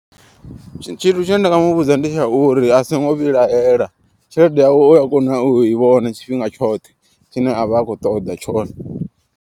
Tshithu tshine nda nga muvhudza ndi tsha uri asingo vhilahela. Tshelede yawe uya kona u i vhona tshifhinga tshoṱhe tshine avha akho ṱoḓa tshone.